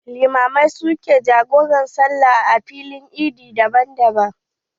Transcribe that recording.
Limamai su ke jagoran saloli a filin eid daban daban.